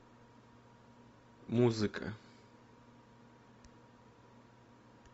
музыка